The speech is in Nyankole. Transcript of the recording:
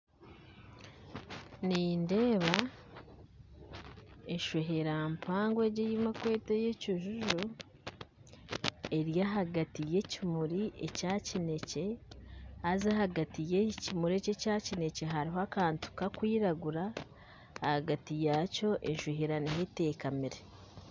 Nindeeba eshwehera mpango ei barikweta ekijuju eri ahagati yekimuri ekyakinekye haza ahagati yekimuri eki ekyakinekye hariho akantu karikwiragura ahagati yakyo eshwehera niho etekamire